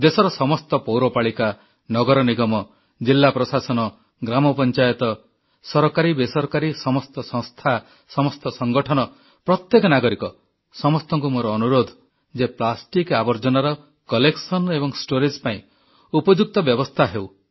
ଦେଶର ସମସ୍ତ ପୌରପାଳିକା ନଗର ନିଗମ ଜିଲ୍ଲା ପ୍ରଶାସନ ଗ୍ରାମପଞ୍ଚାୟତ ସରକାରୀ ବେସରକାରୀ ସମସ୍ତ ସଂସ୍ଥା ସମସ୍ତ ସଂଗଠନ ପ୍ରତ୍ୟେକ ନାଗରିକ ସମସ୍ତଙ୍କୁ ମୋର ଅନୁରୋଧ ଯେ ପ୍ଲାଷ୍ଟିକ୍ ଆବର୍ଜନାର ସଂଗ୍ରହ ଏବଂ ସଂରକ୍ଷଣ ପାଇଁ ଉପଯୁକ୍ତ ବ୍ୟବସ୍ଥା ହେଉ